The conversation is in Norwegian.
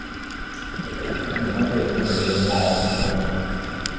Ingen av delene ble det noe av. punktum